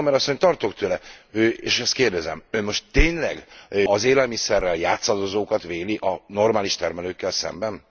Sommer asszony tartok tőle és ezt kérdezem Ön most tényleg az élelmiszerrel játszadozókat védi a normális termelőkkel szemben?